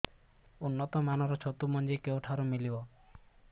ଉନ୍ନତ ମାନର ଛତୁ ମଞ୍ଜି କେଉଁ ଠାରୁ ମିଳିବ